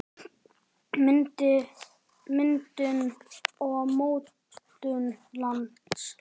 Myndun og mótun lands